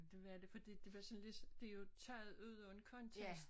Det var det fordi det var sådan lidt det jo taget ud af en kontekst